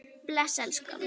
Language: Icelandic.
Bless elskan!